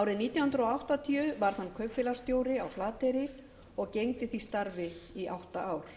árið nítján hundruð áttatíu varð hann kaupfélagsstjóri á flateyri og gegndi því starfi í átta ár